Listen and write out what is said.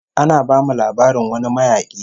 Ana bamu labarin wani mayaki